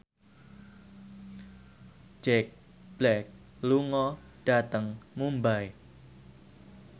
Jack Black lunga dhateng Mumbai